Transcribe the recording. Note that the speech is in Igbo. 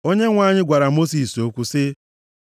Onyenwe anyị gwara Mosis okwu sị,